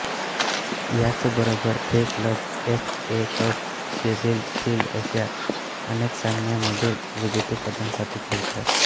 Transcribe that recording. याचबरोबर हे club F A cup Sheffield shield अशा अनेक सामन्यांमधील विजेतेपदांसाठी खेळतात